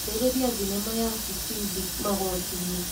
Ambĩrĩria thinema ya Bitimbi Magotinĩ.